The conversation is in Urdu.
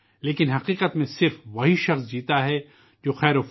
لیکن درحقیقت جیتا صرف وہی انسان ہے جس کا وجود دوسروں کے لئے ہے